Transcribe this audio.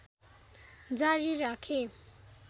जारी राखे